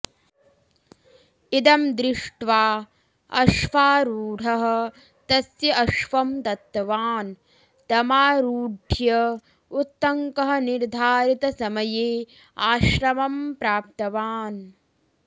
इदं दृश्ट्वा अश्वारूढः तस्य अश्वं दत्तवान् तमारूढ्य उत्तङ्कः निर्धारितसमये आश्रमं प्राप्तवान्